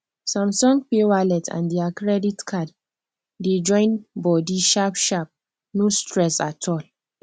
samsung pay wallet and their credit card dey join body sharp sharp no stress at all